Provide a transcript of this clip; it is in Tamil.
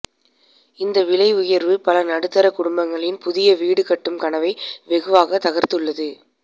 இந்த விலை உயர்வு பல நடுத்தர குடும்பங்களின் புதிய வீடு கட்டும் கனவை வெகுவாக தகர்த்துள்ளது